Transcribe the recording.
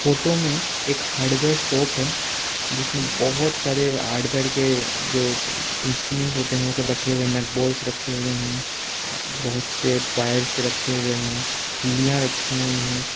Photo में एक hardware shop है जिसमें बहोत सारे हार्डवेयर के जो इंस्ट्रूमेंट होते हैं और सब रखे हुए हैं नट बोल्ट्स रखे हुए हैं बहोत से वायर्स रखे हुए हैं खिलियां रखी हुई हैं।